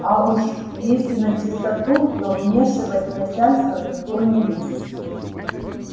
а уж если начистоту то вмешивать начальство никто не любит